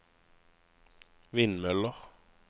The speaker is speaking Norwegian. vindmøller